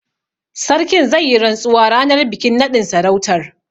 Sarkin zai yi rantsuwa ranar bikin naɗin sarautar.